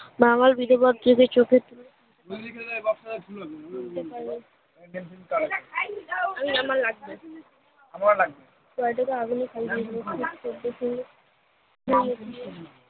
বাঙাল বিধবার কি যে চোখের